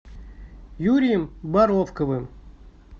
юрием боровковым